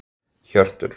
Hjörtur